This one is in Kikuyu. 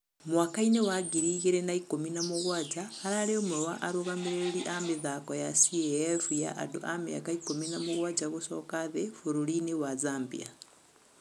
Mwaka‐inĩ wa ngiri igĩri na ikũmi na mũgwaja ararĩ ũmwe wa arũgamĩrĩria mĩtĥako ya CAF ya andũ a mĩaka ikũmi na mũgwaja gũcoka thĩ fũrũri-inĩ wa Zambia.